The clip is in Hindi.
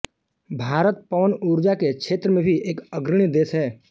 भारत पवन ऊर्जा के क्षेत्र में भी एक अग्रणी देश है